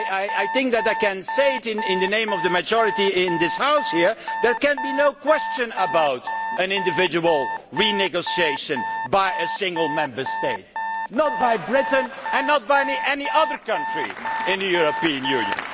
I think that I can say in the name of the majority in this House that there can be no question about an individual renegotiation by a single Member State, not by Britain and not by any other country in the European Union.